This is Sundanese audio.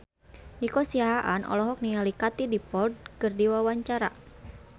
Nico Siahaan olohok ningali Katie Dippold keur diwawancara